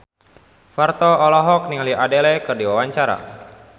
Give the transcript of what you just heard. Parto olohok ningali Adele keur diwawancara